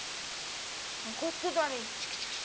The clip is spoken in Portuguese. Arrancou tudo de uma vez. tique tique tique